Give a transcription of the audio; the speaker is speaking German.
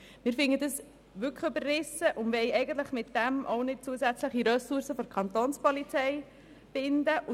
Wir finden diese Formulierung wirklich überrissen und möchten mit diesem Artikel keine zusätzlichen Ressourcen der Kapo binden.